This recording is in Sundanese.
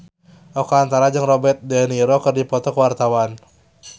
Oka Antara jeung Robert de Niro keur dipoto ku wartawan